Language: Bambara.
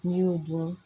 N'i y'u dun